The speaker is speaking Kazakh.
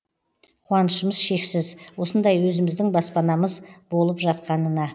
қуанышымыз шексіз осындай өзіміздің баспанамыз болып жатқанына